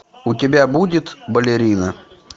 у тебя будет балерина